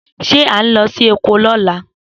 Se a n lọ sí oko lola?